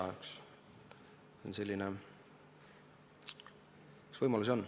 Võimalusi selleks on.